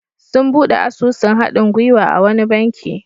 Sun buɗe asusun haɗin-gwiwa a wani banki.